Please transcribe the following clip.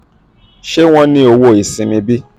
ṣe wọn ni owo iṣimi bi?